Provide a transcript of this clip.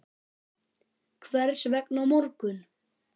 Hvers vegna á morgun?